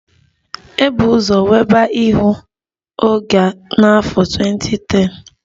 E bu ụzọ weba ihu oge n'afọ 2010